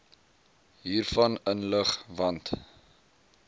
hiervan inlig want